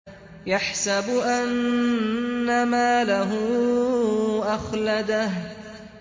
يَحْسَبُ أَنَّ مَالَهُ أَخْلَدَهُ